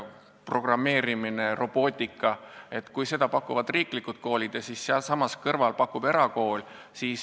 Programmeerimise ja robootika õppekava pakuvad riiklikud koolid ja sealsamas kõrval pakub erakool.